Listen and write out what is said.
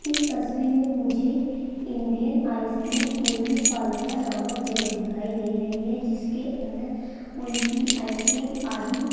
इस तस्वीर में मुझे इंडियन आइसक्रीम कुल्फी फालूदा नामक जगह दिखाई दे रही है जिसके अंदर कुल्फी आइसक्रीम आदि --